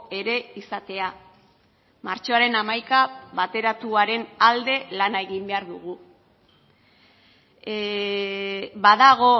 ere izatea martxoaren hamaika bateratuaren alde lana egin behar dugu badago